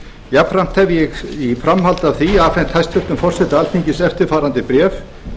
jafnframt hef ég í framhaldi af því afhent hæstvirts forseta alþingis eftirfarandi bréf